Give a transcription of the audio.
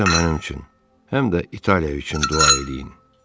Siz də mənim üçün həm də İtaliya üçün dua eləyin.